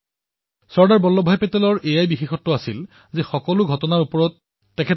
চৰ্দাৰ বল্লভভাইৰ বিশেষত্ব এয়াই যে তেওঁ প্ৰতিটো ঘটনাতে দৃষ্টি নিক্ষেপ কৰিছিল